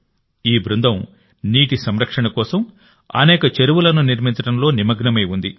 ఈ బృందం నీటి సంరక్షణ కోసం అనేక చెరువులను నిర్మించడంలో నిమగ్నమై ఉంది